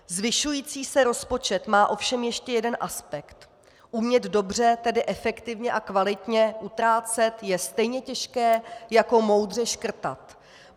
Zvyšující se rozpočet má ovšem ještě jeden aspekt - umět dobře, tedy efektivně a kvalitně utrácet je stejně těžké jako moudře škrtat.